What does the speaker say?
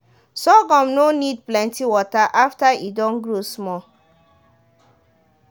sorghum no need plenty water after e don grow small.